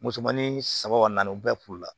Musomanin saba naani u bɛɛ furu la